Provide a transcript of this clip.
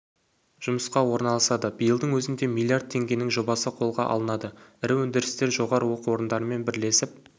жұмысқа орналасады биылдың өзінде млрд теңгенің жобасы қолға алынады ірі өндірістер жоғары оқу орындарымен бірлесіп